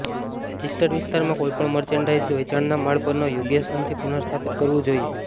registered વિસ્તારમાં કોઈપણ મર્ચેન્ડાઇઝને વેચાણના માળ પરના યોગ્ય સ્થાનથી પુનર્સ્થાપિત કરવું જોઈએ